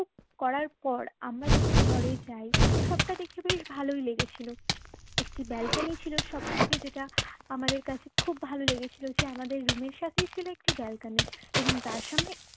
করার পর আমরা যখন ঘরে যাই সবটা দেখতে বেশ ভালই লেগেছিল একটি ব্যালকনি ছিল সবথেকে যেটা আমাদের কাছে খুব ভালো লেগেছিল যে আমাদের room এর সাথেই ছিল একটি ব্যালকনি এবং তার সামনে